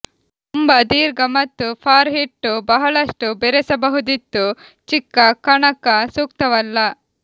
ತುಂಬಾ ದೀರ್ಘ ಮತ್ತು ಫಾರ್ ಹಿಟ್ಟು ಬಹಳಷ್ಟು ಬೆರೆಸಬಹುದಿತ್ತು ಚಿಕ್ಕ ಕಣಕ ಸೂಕ್ತವಲ್ಲ